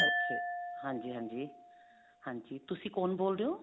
ਅੱਛਾ ਜੀ ਹਾਂਜੀ ਹਾਂਜੀ ਹਾਂਜੀ ਤੁਸੀਂ ਕੋਣ ਬੋਲ ਰਹੇ ਹੋ